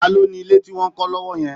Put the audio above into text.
Ta ló ni ilé tí wọ́n ń kọ́ lọ́wọ́ yẹn